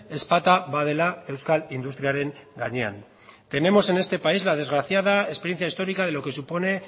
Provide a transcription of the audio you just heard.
ezpata badela euskal industriaren gainean tenemos en este país la desgraciada experiencia histórica de lo que supone